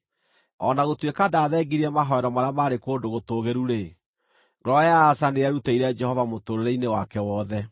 O na gũtuĩka ndaathengirie mahooero marĩa maarĩ kũndũ gũtũũgĩru-rĩ, ngoro ya Asa nĩyerutĩire Jehova mũtũũrĩre-inĩ wake wothe.